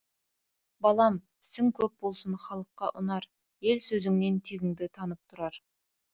балам ісің көп болсын халыққа ұнар ел сөзіңнен тегіңді танып тұрар